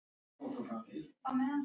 Já, svona nokkurn veginn.